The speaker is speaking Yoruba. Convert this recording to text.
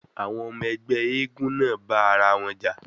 Àwọn ọmọ ẹgbẹ́ eégún náà bá ara wọn jà.